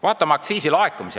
Vaatame aktsiisilaekumisi!